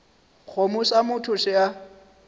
kgomo sa motho se a